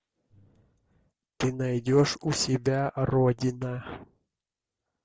ты найдешь у себя родина